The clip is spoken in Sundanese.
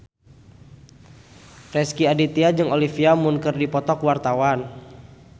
Rezky Aditya jeung Olivia Munn keur dipoto ku wartawan